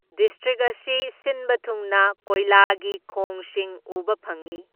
District ꯑꯁꯤ ꯁꯤꯟꯕ ꯊꯨꯡꯅ ꯀꯣꯏꯂꯥꯒꯤ ꯈꯣꯡꯁꯤꯡ ꯎꯕ ꯐꯪꯏ꯫